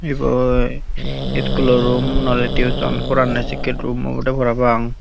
ebey iskulo room no oley tuition poranne sekke room obowde parapang.